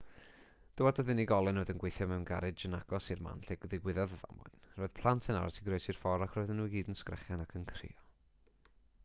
dywedodd unigolyn oedd yn gweithio mewn garej yn agos i'r man lle digwyddodd y ddamwain roedd plant yn aros i groesi'r ffordd ac roedden nhw i gyd yn sgrechian ac yn crio